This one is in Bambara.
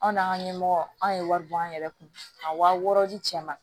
Aw n'an ka ɲɛmɔgɔ anw ye wari bɔ an yɛrɛ kun a wa wɔɔrɔ di cɛ ma